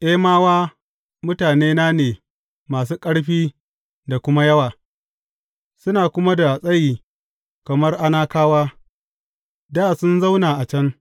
Emawa, mutane ne masu ƙarfi da kuma yawa, suna kuma da tsayi kamar Anakawa, dā sun zauna a can.